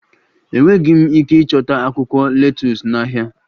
Enweghị m ike ịchọta akwụkwọ letus n'ahịa